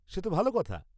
সে তো ভালো কথা।